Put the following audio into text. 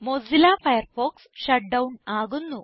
Mozilla Firefox shut down ആകുന്നു